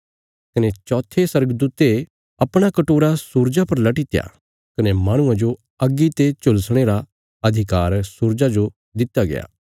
कने चौथे स्वर्गदूते अपणा कटोरा सूरजा पर लटीत्या कने माहणुआं जो अग्गी ते झुलसाणे रा अधिकार सूरजा जो दित्या गया